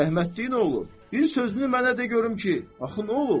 Rəhmətliyin oğlu, bir sözünü mənə de görüm ki, axı nə olub?